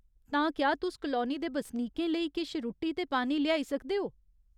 तां, क्या तुस कलौनी दे बसनीकेंं लेई किश रुट्टी ते पानी लेआई सकदे ओ ?